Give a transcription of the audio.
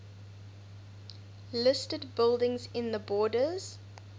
listed buildings in the borders